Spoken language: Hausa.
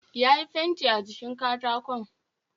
Yayi fenti a jikin katakon